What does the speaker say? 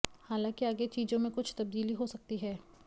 हालांकि आगे चीजों में कुछ तब्दीली हो सकती है